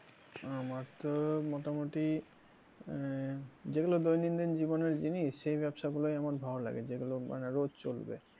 আমার তো মোটামুটি আহ যেগুলো দৈনন্দিন জীবনের জিনিস সেই ব্যবসা গুলোই আমার ভালো লাগে, যেগুলো মানে রোজ চলবে